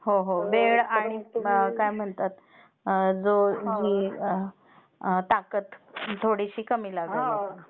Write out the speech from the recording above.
हो हो वेळ आणि काय म्हणतात, ताकद थोडीशी कमी लागायला लागली.